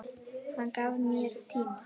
Hann gaf mér tíma.